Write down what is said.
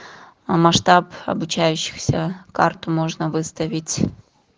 а масштаб обучающихся карту можно выставить